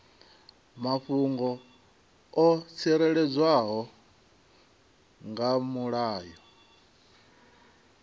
mafhungo o tsireledzwaho nga mulayo